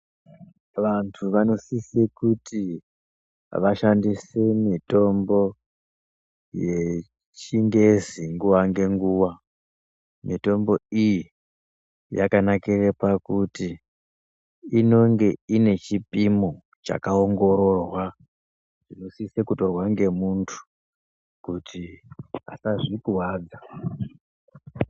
Vantu vanosise kuti vashandise mitombo yechingezi nguwa ngenguwa. Mitombo iyi yakanakire pakuti inonge ine chipimo chakaongororwa chinosise kutorwa ngemuntu kuti asazvikuwadza.